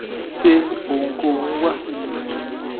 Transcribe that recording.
sé ohunkóhun wà